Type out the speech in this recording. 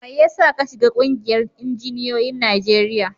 Mai yasa ka shiga ƙungiyar injiniyoyin Najeriya?